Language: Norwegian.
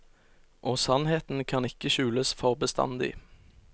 Og sannheten kan ikke skjules for bestandig.